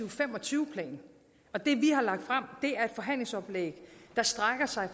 og fem og tyve plan og det vi har lagt frem er et forhandlingsoplæg der strækker sig